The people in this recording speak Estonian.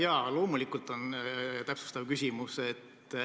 Jaa, loomulikult on täpsustav küsimus.